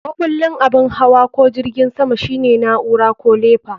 Makullin abin hawa ko jirgin sama shine na'ura ko lefa.